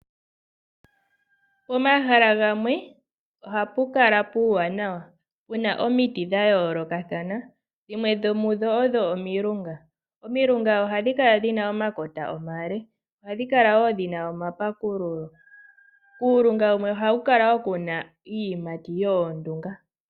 Pomahala gamwe ohapu kala puuwanawa. Puna omiti dha yoolokathana dhimwe dho mudho odho omilunga. Omilunga ohadhi kala dhina omakota omale. Ohadhi kala woo dhina omapakululo . Kuulunga wumwe ohaku kala woo kuna iiyimati yoondunga.